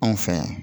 Anw fɛ yan